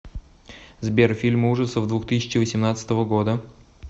сбер фильмы ужасов двух тысяча восемнадцатого года